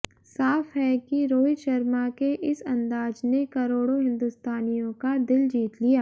साफ है कि रोहित शर्मा के इस अंदाज ने करोड़ों हिंदुस्तानियों का दिल जीत लिया